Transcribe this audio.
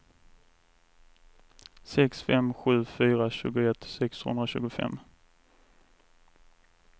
sex fem sju fyra tjugoett sexhundratjugofem